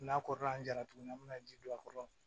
N'a kɔrɔla an jara tuguni an bɛna ji don a kɔrɔ